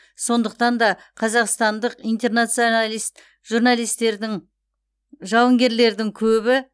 сондықтан да қазақстандық интернационалист журналистердің жауынгерлердің көбі